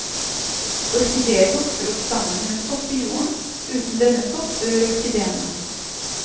Orkideer vokser opp samen med sopp i jorden, uten denne sopp dør orkideene.